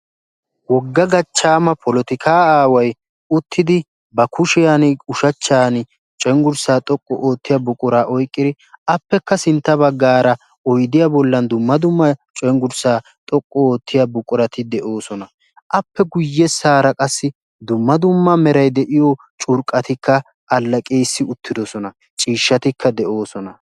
Wogga gachchaama polotikaa aaway uttidi ba kushiyan ushachchan cenggurssaa xoqqu oottiya buquraa oyqqidi appekka sintta baggaara oydiya bollan dumma dummaa cenggurssaa xoqqu oottiya buqurati de7oosona. appe guyyessaara qassi dumma dumma meray de7iyo curqqatikka allaqissi uttidosona. ciishshatikka de7oosona.